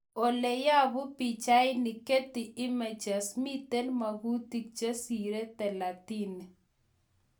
oleyapu pichainik, Getty images, miten magutik chesire talatini